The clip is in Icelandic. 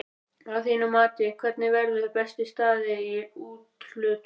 Að þínu mati hvernig verður best staðið að úthlutun?